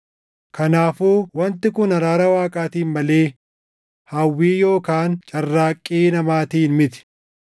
Kanaafuu wanti kun araara Waaqaatiin malee hawwii yookaan carraaqqii namaatiin miti.